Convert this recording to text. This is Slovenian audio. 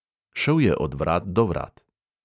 Šel je od vrat do vrat.